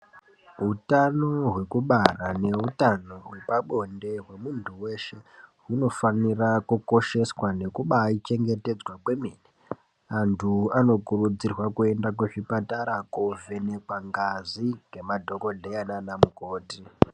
Utano hwekubara neutano hwepabonde hwemuntu weshe hunofanira kukosheswa nekubaa chengetedzwa kwemene antu anokurudzirwa kuenda kuzvipatara kovhenekwa ngazi ngemadhokodheya nana mukoti.